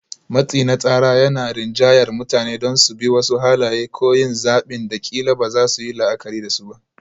Matsi na tsara yana rinjayar mutane don su bi wasu halaye ko yin zaɓin da ƙila ba za su yi la'akari da su ba.